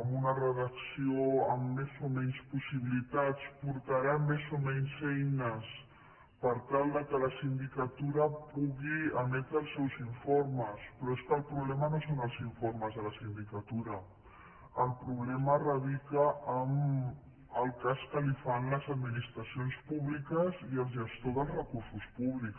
amb una redacció amb més o menys possibilitats portarà més o menys eines per tal que la sindicatura pugui emetre els seus informes però és que el problema no són els informes de la sindicatura el problema radica en el cas que li fan les administracions públiques i el gestor dels recursos públics